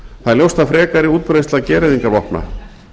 það er ljóst að frekari útbreiðsla gereyðingarvopna